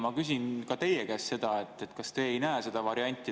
Ma küsin ka teie käest, kas teie ei näe seda varianti.